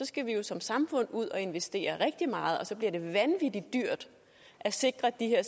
skal vi jo som samfund ud at investere rigtig meget og så bliver det vanvittig dyrt at sikre de her